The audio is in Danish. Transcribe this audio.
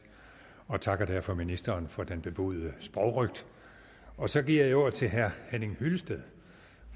og takker derfor ministeren for den bebudede sprogrøgt og så giver jeg ordet til herre henning hyllested